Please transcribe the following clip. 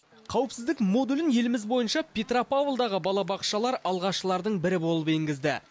қауіпсіздік модулін еліміз бойынша петропавлдағы балабақшалар алғашқылардың бірі болып енгізді